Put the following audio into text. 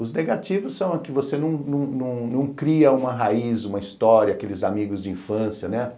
Os negativos são que você não cria uma raiz, uma história, aqueles amigos de infância, né?